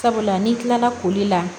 Sabula n'i kilala koli la